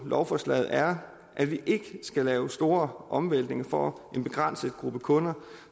lovforslaget er at vi ikke skal lave store omvæltninger for en begrænset gruppe kunder